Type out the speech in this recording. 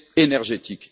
énergétique